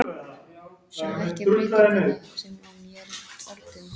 Sjá ekki breytinguna sem á mér er orðin.